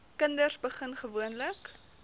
kinders begin gewoonlik